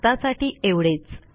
आत्तासाठी एवढेच